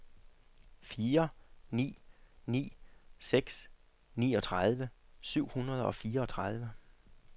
fire ni ni seks niogtredive syv hundrede og fireogtredive